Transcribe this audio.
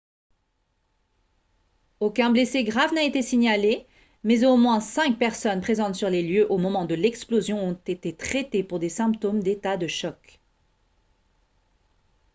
aucun blessé grave n'a été signalé mais au moins cinq personnes présentes sur les lieux au moment de l'explosion ont été traitées pour des symptômes d'état de choc